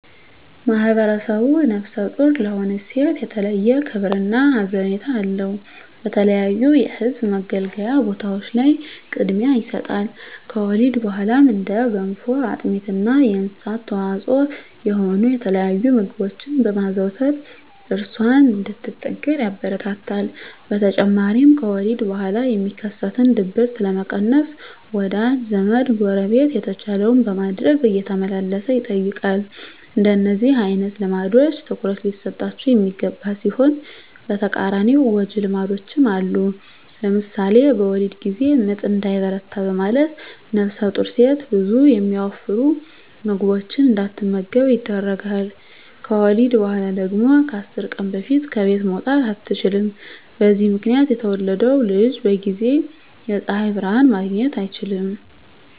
ማህብረሰቡ ነፍሰ ጡር ለሆነች ሴት የተለየ ክብር እና ሀዘኔታ አለው። በተለያዩ የህዝብ መገልገያ ቦታዎች ላይ ቅድሚያ ይሰጣል። ከወሊድ በኋላም እንደ ገንፎ፣ አጥሚት እና የእንስሳት ተዋፅዖ የሆኑ የተለያዩ ምግቦችን በማዘውተር እራሷን እንድትጠግን ያበረታታል። በተጨማሪም ከወሊድ በኋላ የሚከሰትን ድብርት ለመቀነስ ወዳጅ ዘመ፣ ጎረቤት የተቻለውን በማድረግ እየተመላለሰ ይጠይቃል። እንደነዚህ አይነት ልምዶች ትኩረት ሊሰጣቸው የሚገባ ሲሆን በተቃራኒው ጎጅ ልማዶችም አሉ። ለምሳሌ በወሊድ ጊዜ ምጥ እንዳይበረታ በማለት ነፍሰጡር ሴት ብዙ የሚያወፍሩ ምግቦችን እንዳትመገብ ይደረጋል። ከወሊድ በኋላ ደግሞ ከ10 ቀን በፊት ከቤት መውጣት አትችልም። በዚህ ምክንያት የተወለደው ልጅ በጊዜ የፀሀይ ብርሀን ማግኘት አይችልም።